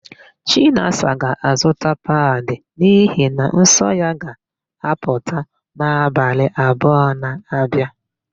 Chinasa ga-azụta padị n'ihi na nsọ ya ga-apụta n'abalị abụọ na-abịa.